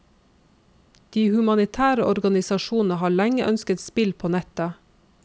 De humanitære organisasjonene har lenge ønsket spill på nettet.